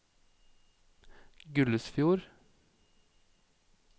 Gullesfjord